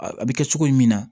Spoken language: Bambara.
A bɛ kɛ cogo min na